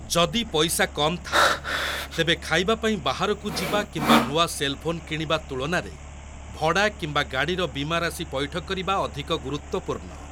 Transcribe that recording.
ଯଦି ପଇସା କମ୍ ଥାଏ, ତେବେ ଖାଇବା ପାଇଁ ବାହାରକୁ ଯିବା କିମ୍ବା ନୂଆ ସେଲ୍‌ ଫୋନ୍ କିଣିବା ତୁଳନାରେ ଭଡ଼ା କିମ୍ବା ଗାଡ଼ିର ବୀମାରାଶି ପୈଠ କରିବା ଅଧିକ ଗୁରୁତ୍ୱପୂର୍ଣ୍ଣ।